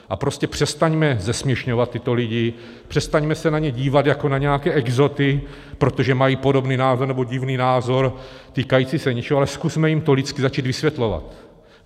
A prostě přestaňme zesměšňovat tyto lidi, přestaňme se na ně dívat jako na nějaké exoty, protože mají podobný názor nebo divný názor týkající se něčeho, ale zkusme jim to lidsky začít vysvětlovat.